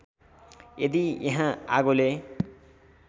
यदि यहाँ आगोले